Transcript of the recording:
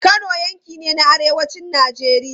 Kano yanki ne na arewacin Najeriya.